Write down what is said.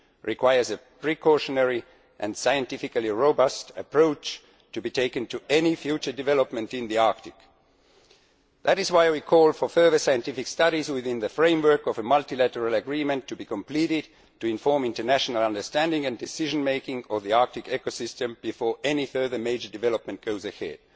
requires a precautionary and scientifically robust approach to be taken to any future development in the Arctic. That is why we called for further scientific studies, within the framework of a multilateral agreement to be completed, to inform international understanding and decision making for the Arctic ecosystem before any further major development goes ahead.